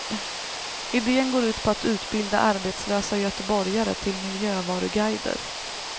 Idén går ut på att utbilda arbetslösa göteborgare till miljövaruguider.